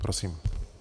Prosím.